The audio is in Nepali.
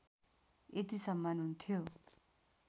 यति सम्मान हुन्थ्यो